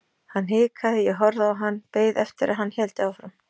Hann hikaði, ég horfði á hann, beið eftir að hann héldi áfram.